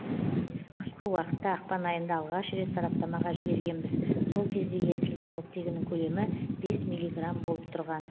қысқы уақытта ақпан айында алғаш рет сараптамаға жібергенбіз сол кезде ерітілген оттегінің көлемі бес миллиграмм болып тұрған